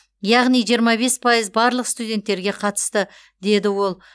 яғни жиырма бес пайыз барлық студенттерге қатысты деді ол